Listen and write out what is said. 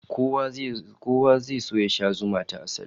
Kowa zai so ya sha zuma ta asali